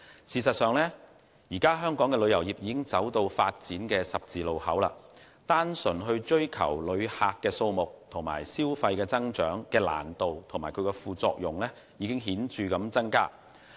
事實上，香港旅遊業已走到發展的十字路口，單純追求旅客數目和消費增長的難度和副作用已顯著增加。